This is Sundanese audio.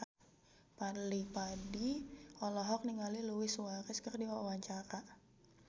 Fadly Padi olohok ningali Luis Suarez keur diwawancara